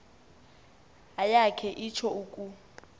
ayakhe itsho uku